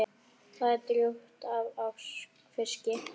Það er drjúgt af fiski.